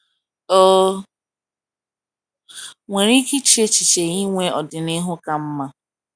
o nwere ike iche echiche inwe ọdịnihu ka mma?